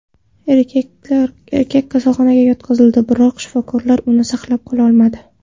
Erkak kasalxonaga yotqizildi, biroq shifokorlar uni saqlab qololmadi.